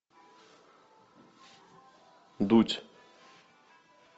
дудь